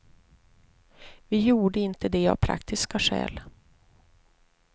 Vi gjorde inte det av praktiska skäl.